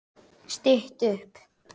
Stytt upp